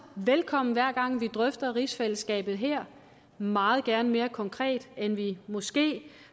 velkommen hver gang vi drøfter rigsfællesskabet her meget gerne mere konkret end vi måske